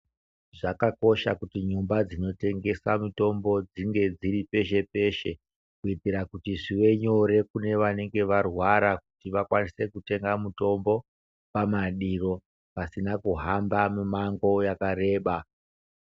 Zvakakosha kuti nyumba dzinotengesa mitombo dzinge dziri peshe peshe kuitira kuti zvive nyore kune vanenge varwara vakawnise kutenga mitombo pasina kuhamba mimango yakareba.